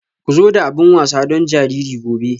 Ku zo da abin wasa don jariri gobe.